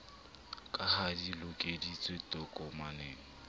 ka ha di lokodisitswe tokomaneng